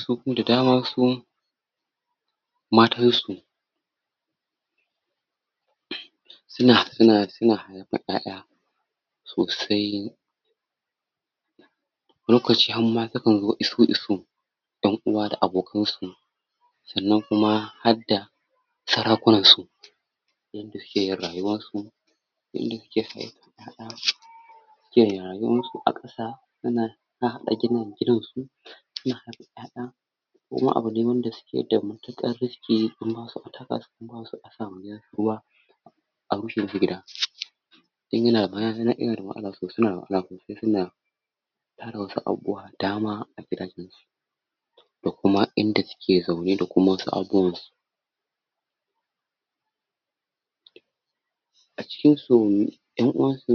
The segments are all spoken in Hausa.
su kuma da dama su matan su suna suna da ƴaƴa sosai lokaci hama sukan zo isu isu ƴan'uwa da abokan su sanan kuma hadda tsaraban su yadda sukeyin rayuwan su yanda suke son yaya suke rayuwan su aƙasa suna ɗan haɗa haɗa gininsu suna haifan ƴaƴa kuma abu ne wanda suke da matukan riski kuma taka su koma basu so asama gidan su ruwa a rushe musu guda arufe musu gida dan yana um yanada matsala sosai sonada matsala sosa suna tara wasu abubuwa da dama agidajen su da kuma inda suke zaune da kuma abubuwan su acikin su ƴan'dwan su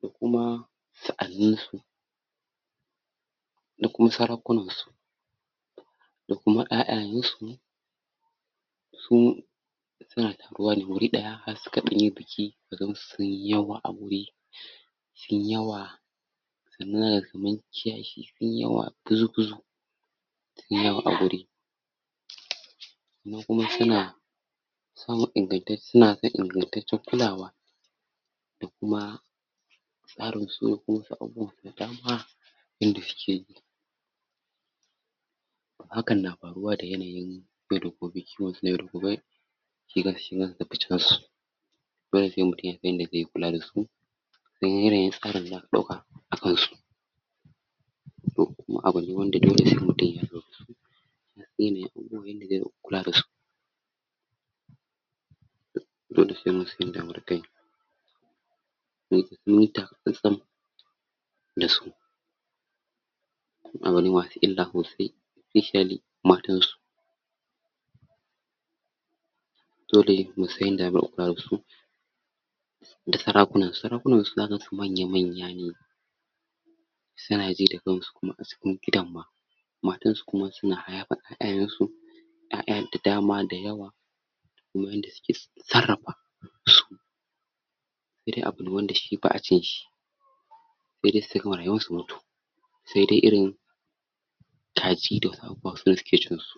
da kuma sa'anin su da kuma sarkunan su da kuma ƴaƴayensu sun suna taruwa ne wuri daya har sukan dan yi biki kagansu sunyi yawa a guri sunyi yawa sanan zakaga kaman kiyashi sunyi yawa buzu buzu sunyi yawa aguri kuma kuma suna samun ingantacce suna da ingantaccen kulawa da kuma tsarinsu da kuma abubuwan su da dama inda suke hakan na faruwa da yanayi yau da gobe kiwonsu na yau da gobe shgan su nan da ficen su dole se mutun ya san yanda ze kulada su dan yanayin tsarin da zaka dauka akan su um kuma abu ne wanda dole se mutun ya lura da su ya san yanayin abubuwan yanda zai rinka kula dasu um dole se munsan yanda zamu riƙa yi um muyi taka tsantsan da su abune masu illa sosai especially matan su dole se munsan yanda zamu riƙa kula dasu da sarakunansu sarakunansu zaka gansu manya manya ne suna ji da kansu kuma acikn gidan ma matansu kuma suna hayayyafan ƴaƴayensu ƴaƴa da dama da yawa kuma yanda suke sarafa su irin abune wanda shi ba'a cinshi sai dai sugama rayuwansu su mutu saidai irin kaji da wasu abubuwa sune suke cin su